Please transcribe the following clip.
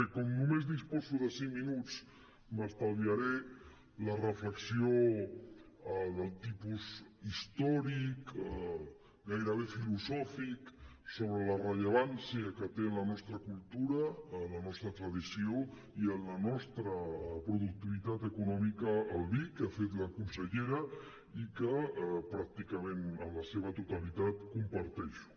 bé com que només disposo de cinc minuts m’estalviaré la reflexió del tipus històric gairebé filosòfic sobre la rellevància que té en la nostra cultura en la nostra tradició i en la nostra productivitat econòmica el vi que ha fet la consellera i que pràcticament en la seva totalitat comparteixo